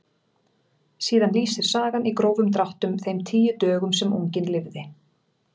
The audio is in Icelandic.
Síðan lýsir sagan í grófum dráttum þeim tíu dögum sem unginn lifði.